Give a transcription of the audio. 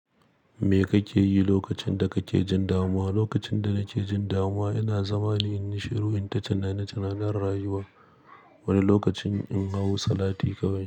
Me kake yi lokacin da kake jin damuwa? Lokacin da nake jin damuwa, ina zama ni in yi shiru, in ta tunani tunanin rayuwa. Wani lokacin in hau salati kawai.